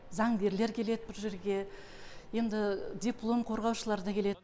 заңгерлер келеді бұл жерге енді диплом қорғаушылар да келеді